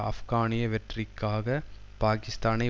ஆப்கானிய வெற்றிக்காக பாக்கிஸ்தானை